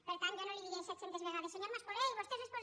per tant jo no li diré setcentes vegades senyor mascolell vostè és respon